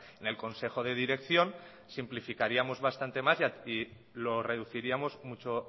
en el consejo de dirección simplificaríamos bastante más y lo reduciríamos mucho